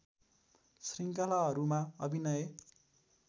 श्रृङ्खलाहरूमा अभिनय